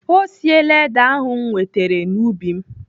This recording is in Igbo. Ọ siela ede ahụ m wetere n'ubi m.